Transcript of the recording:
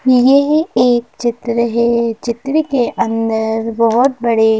यह एक चित्र है चित्र के अंदर बहुत बड़े --